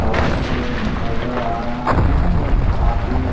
house नज़र आ रहा है और काफी--